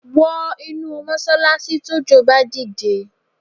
Wọ inú mọ́ṣálááṣí tójò bá di dé